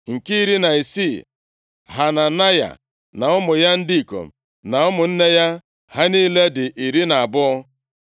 Nke iri na isii, Hananaya na ụmụ ya ndị ikom na ụmụnne ya. Ha niile dị iri na abụọ (12).